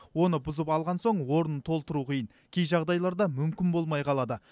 оны бұзып алған соң орнын толтыру қиын кей жағдайларда мүмкін болмай қалады